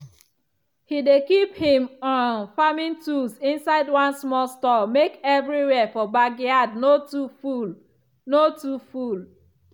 he dey keep him um farming tools inside one small store make everywhere for backyard no too full. no too full.